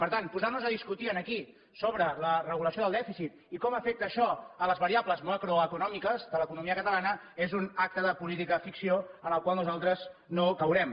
per tant posar nos a discutir aquí sobre la regulació del dèficit i com afecta això les variables macroeconòmiques de l’economia catalana és un acte de política ficció en el qual nosaltres no caurem